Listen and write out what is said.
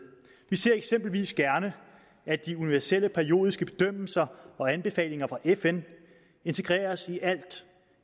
vi ser eksempelvis gerne at de universelle periodiske bedømmelser og anbefalinger fra fn integreres